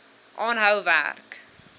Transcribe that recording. aanhou werk